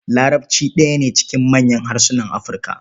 Larabci ɗaya ne cikin manyan harsunan Afirka.